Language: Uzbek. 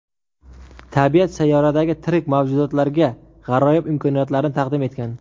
Tabiat sayyoradagi tirik mavjudotlarga g‘aroyib imkoniyatlarni taqdim etgan.